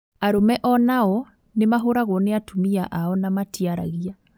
Arũme ona o nĩmahũragwo nĩ atumia ao na matiaragia